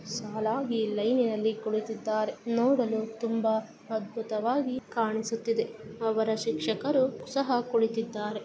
ಸಾಲಾಗಿ ಲೈನಿ ನಲ್ಲಿ ಕುಳಿತಿದ್ದಾರೆ ನೋಡಲು ತುಂಬಾ ಅದ್ಭುತವಾಗಿ ಕಾಣಿಸುತ್ತಿದೆ ಅವರ ಶಿಕ್ಷಕರು ಸಹಾ ಕುಳಿತಿದ್ದಾರೆ.